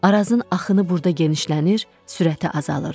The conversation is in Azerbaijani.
Arazın axını burada genişlənir, sürəti azalırdı.